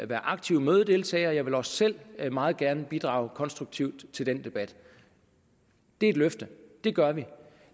være aktive mødedeltagere og jeg vil også selv meget gerne bidrage konstruktivt til den debat det er et løfte det gør vi